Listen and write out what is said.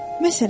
Məsələn.